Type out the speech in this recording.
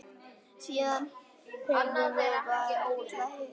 Síðan höfum við varla hist.